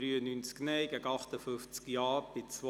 Der Grosse Rat beschliesst: